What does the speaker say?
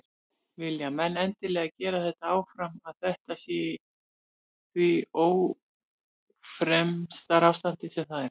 Vilja menn endilega gera þetta áfram að þetta sé í því ófremdarástandi sem það er?